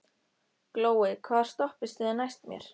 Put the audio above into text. Glói, hvaða stoppistöð er næst mér?